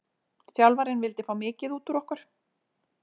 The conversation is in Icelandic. Þjálfarinn vildi fá mikið út úr okkur.